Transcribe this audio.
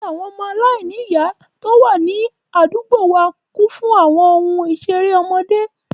Ilé àwọn ọmọ aláìní ìyá tó wà ní àdúgbò wa kún fún àwọn ohun ìṣeré ọmọdé